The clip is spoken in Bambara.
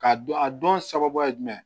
K'a dɔn a dɔn sababu ye jumɛn